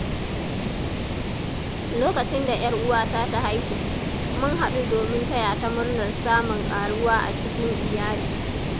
Lokacin da ‘yar’uwata ta haihu, mun haɗu domin taya ta murnar samun ƙaruwa a cikin iyali.